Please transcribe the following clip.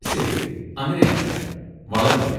ശരി, അങ്ങനെയാണല്ലേ. വളരെ നന്ദി.